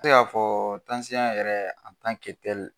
Te ka fɔ yɛrɛ